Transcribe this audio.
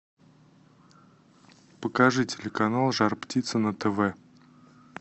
покажи телеканал жар птица на тв